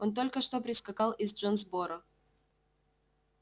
он только что прискакал из джонсборо